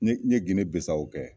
N ɲe n ɲe Gine Bisawo kɛ.